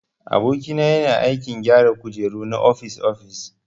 Aboki na yana aikin gyara kujeru na ofis-ofis.